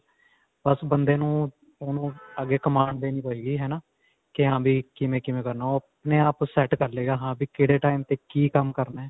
ਬਸ ਬੰਦੇ ਨੂੰ, ਉਹਨੂੰ ਅੱਗੇ command ਦੇਣੀ ਪਏਗੀ ਹੈ ਨਾ ਕਿ ਹਾਂ ਵੀ ਕਿਵੇਂ-ਕਿਵੇਂ ਕਰਨਾ ਓਹ ਆਪਣੇ ਆਪ set ਕਰਲੇਗਾ ਹਾ ਵੀ ਕਿਹੜੇ time ਤੇ ਕੀ ਕੰਮ ਕਰਨਾ.